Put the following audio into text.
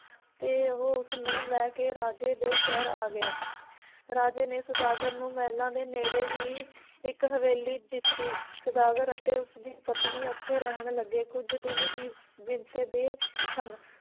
ਤੇ ਉਹ ਉਸ ਨੂੰ ਲੈ ਕੇ ਰਾਜੇ ਦੇ ਸ਼ਹਿਰ ਆ ਗਿਆ ਰਾਜੇ ਨੇ ਸੌਦਾਗਰ ਨੂੰ ਮਹਿਲਾਂ ਦੇ ਨੇੜੇ ਹੀ ਇੱਕ ਹਵੇਲੀ ਦਿੱਤੀ, ਸੌਦਾਗਰ ਅਤੇ ਉਸ ਦੀ ਪਤਨੀ ਓਥੇ ਰਹਿਣ ਲੱਗੇ ਕੁਝ ਦਿਨ ਹੀ ਬੀਤਦੇ ਸਨ